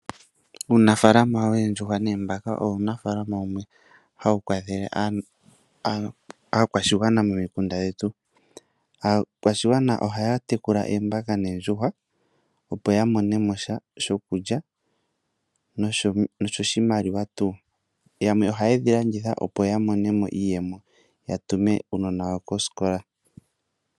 Uunafalama woondjuhwa noombaka owo Uunafalama wumwe hawu kwathele aakwashigwana momukunda gwetu. Aakwashigwana ohaya tekula oombaka noondjuhwa opo yamone mosha shokulya noshimaliwa, yamwe ohayedhi landitha opo yamone mo iiyemo opo yatume uunona wawo koskola.